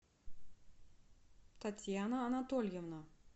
татьяна анатольевна